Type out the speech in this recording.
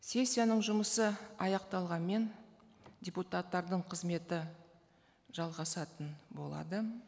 сессияның жұмысы аяқталғанмен депутаттардың қызметі жалғасатын болады